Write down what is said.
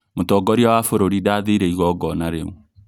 Mũtongoria wa bũrũri ndathire igogona rĩũ